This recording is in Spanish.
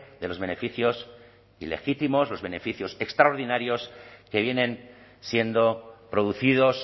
de los beneficios ilegítimos los beneficios extraordinarios que vienen siendo producidos